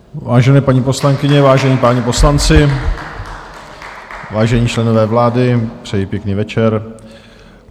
Vážené paní poslankyně, vážení páni poslanci, vážení členové vlády, přeji pěkný večer.